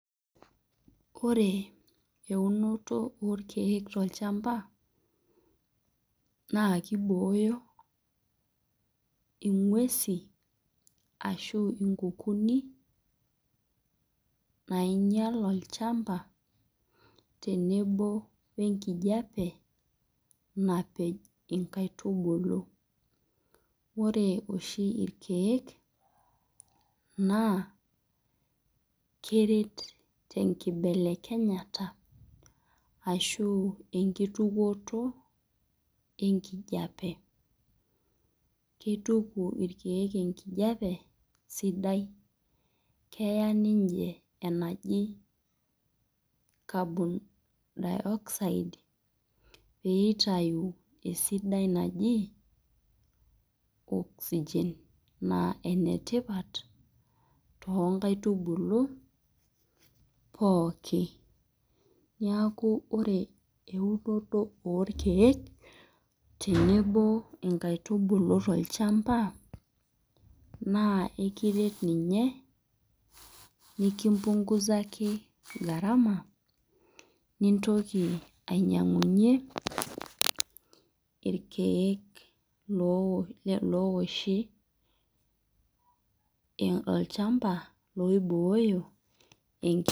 Ore eunoto olkeek tolchamba naa keibooyo ing'uesi ashu inkukuni nainyal olchamba, tenebo we enkijape napej inkaitubulu. Ore oshi ilkeek naa keret te enkibelekenyata ashu enkitukuoto enkijape. Keituku ilkeek enkijape sidai, keya ninche carbon dioxide pee eitayu esidai naji oxygen, naa enetipat too inkaitubulu pooki, neaku ore eunoto oo inkaitubulu tolchamba, naa ekiret ninye nekimpung'uzaki gharama nintoki ainyang'unye olkeek ooshi olchamba pee eibooyo enkijape.